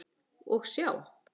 Og sjá!